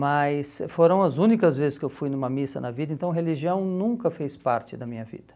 Mas foram as únicas vezes que eu fui numa missa na vida, então religião nunca fez parte da minha vida.